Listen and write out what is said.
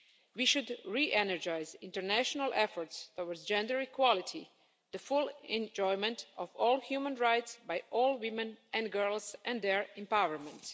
We should re energise international efforts towards gender equality, the full enjoyment of all human rights by all women and girls and their empowerment.